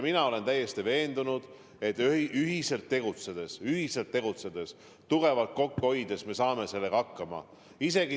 Mina olen täiesti veendunud, et ühiselt tegutsedes, tugevalt kokku hoides me saame sellega hakkama.